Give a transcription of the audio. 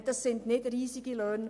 Das sind nicht riesige Löhne;